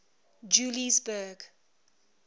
juliesburg